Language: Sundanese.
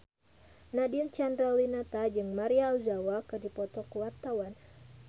Nadine Chandrawinata jeung Maria Ozawa keur dipoto ku wartawan